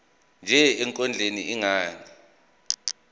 nje ekondleni ingane